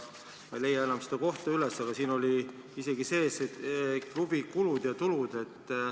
Ma ei leia enam seda kohta üles, aga siin olid isegi sees klubi kulud ja tulud.